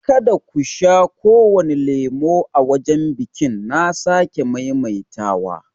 Ka da ku sha kowane lemon a wajen biƙin na sake maimaita wa!